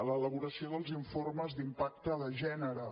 l’elaboració dels informes d’impacte de gènere